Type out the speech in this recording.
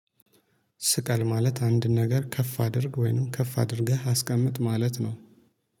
ስቀል ማለት አንድ ነገር ከፍ አድርግ ወይንም ከፍ አድርገህ አስቀምጥ ማለት ነው